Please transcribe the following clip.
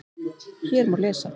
Hér má lesa